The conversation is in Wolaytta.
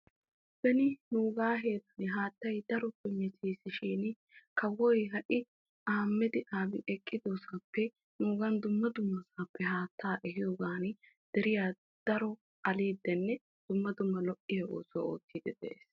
Beni nuuga heeran haattay daro meetesishin kawoy ha'i haatta dumma dumma sohuwappe ehidde de'iyogan asaa aliddinne lo'o oosuwa oottidde de'ees.